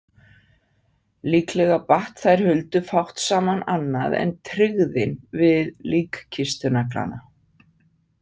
Líklega batt þær Huldu fátt saman annað en tryggðin við líkkistunaglana.